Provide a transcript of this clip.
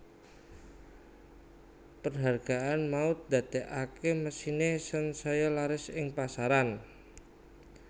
Perhargaan mau ndadeake mesine sansaya laris ing pasaran